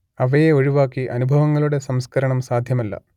അവയെ ഒഴിവാക്കി അനുഭവങ്ങളുടെ സംസ്കരണം സാധ്യമല്ല